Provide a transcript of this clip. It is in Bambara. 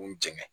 N jɛngɛ